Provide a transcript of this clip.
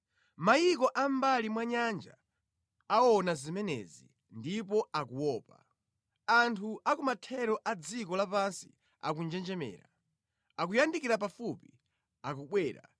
Mayiko amʼmbali mwa nyanja aona zimenezi ndipo akuopa; anthu a ku mathero a dziko lapansi akunjenjemera. Akuyandikira pafupi, akubwera;